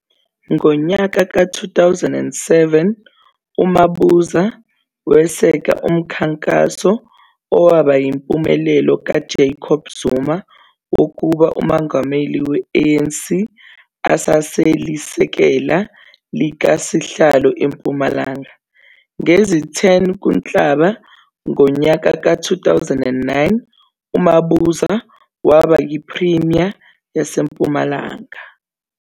Ngonyaka ka 2007 uMabuza weseka umkhankaso owaba yimpumelelo kaJacob Zuma wokuba uMongameli we ANC, esaselisekela likasihlalo eMpumalanga. Ngezi 10 kuNhlaba ngonyaka ka 2009 uMabuza waba yi Premier yase Mpumalanga.